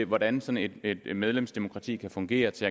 hvordan sådan et medlemsdemokrati kan fungere til